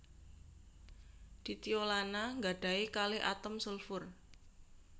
Ditiolana nggadahi kalih atom sulfur